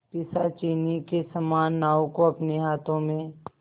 पिशाचिनी के समान नाव को अपने हाथों में